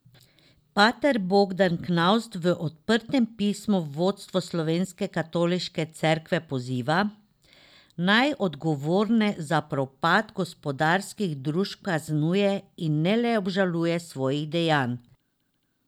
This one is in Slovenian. Pater Bogdan Knavs v odprtem pismu vodstvo slovenske Katoliške cerkve poziva, naj odgovorne za propad gospodarskih družb kaznuje in ne le obžaluje svojih dejanj.